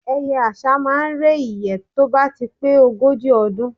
Ẹyẹ àṣá máá ń re ìyẹ́ tó bá ti pé ogójì ọdún